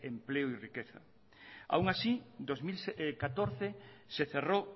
empleo y riqueza aún así dos mil catorce se cerró